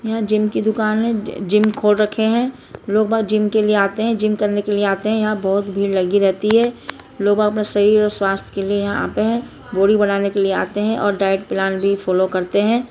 यहाँ जिम की दुकान है जिम खोल रखे है यहाँ लोग बाग जिम के लिए आते हैजिम करने के लिए आते है यहाँ बहुत भीड़ लगी रहती है लोग बाग अपना शरीर और स्वस्थ के लिए आते है बॉडी बनाने के लिए आते है और डाइट प्लान भी फॉलो करते है।